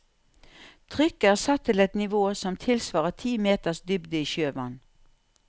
Trykket er satt til et nivå som tilsvarer ti meters dybde i sjøvann.